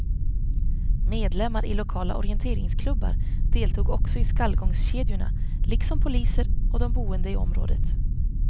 Medlemmar i lokala orienteringsklubbar deltog också i skallgångskedjorna liksom poliser och de boende i området.